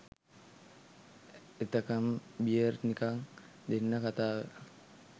එතකම් beer නිකන් දෙන්න කතාව